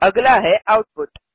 अगला है आउटपुट